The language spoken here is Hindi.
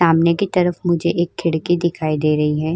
सामने की तरफ मुझे एक खिड़की दिखाई दे रही है।